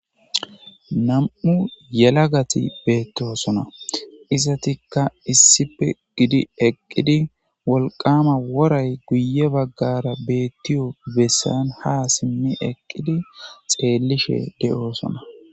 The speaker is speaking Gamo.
nam7u yelagati beettosona isatikka issipe gidi eqqidi wolqama woray guye baggara beettiyo bessan ha simmi eqqidi xeellishe de7oosona